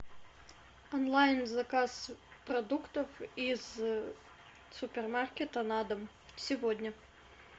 онлайн заказ продуктов из супермаркета на дом сегодня